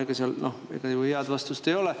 Ega sellele ju head vastust ei ole.